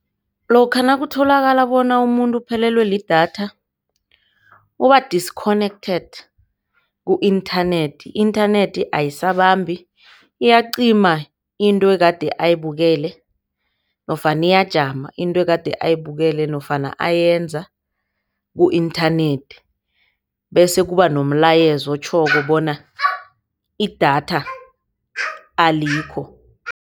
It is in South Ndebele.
Lokha nakutholakala bona umuntu uphelelwe lidatha uba-disconnected ku-inthanethi. I-inthanethi ayisabambi iyacima into egade ayibukele nofana iyajama into kade ayibukele nofana ayenza ku-inthanethi, bese kubanomilayezo otjhoko bona idatha alikho.